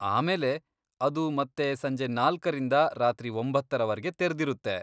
ಆಮೇಲೆ, ಅದು ಮತ್ತೆ ಸಂಜೆ ನಾಲ್ಕರಿಂದ ರಾತ್ರಿ ಒಂಬತ್ತರವರವರ್ಗೆ ತೆರ್ದಿರುತ್ತೆ.